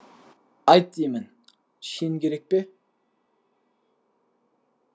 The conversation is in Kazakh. айт деймін шен керек пе